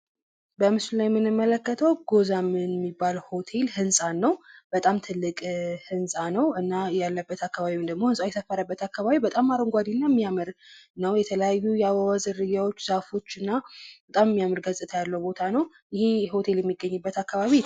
በምስሉ ላይ የምንመለከተው ጎዛምን ሚባለው ሆቴል ህንፃን ነው ። በጣም ትልቅ ህንፃ ነው እና ያለበት አካባቢም ደግሞ ህንፃው የሰፈረበት አካባቢ በጣም አረንጓዴ እና ሚያምር ነው ።የተለያዩ የአበባ ዝርያዎች ዛፎች እና በጣም ሚያምር ገፅታ ያለው ቦታ ነው ። ይህ ሆቴል የሚገኝበት አካባቢ